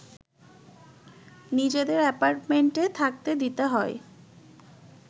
নিজেদের অ্যাপার্টমেণ্টে থাকতে দিতে হয়